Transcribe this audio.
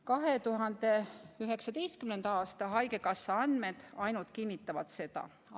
2019. aasta haigekassa andmed ainult kinnitavad seda.